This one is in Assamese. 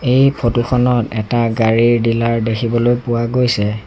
এই ফটো খনত এটা গাড়ীৰ ডিলাৰ দেখিবলৈ পোৱা গৈছে।